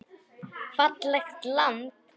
Fallegt land.